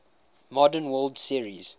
modern world series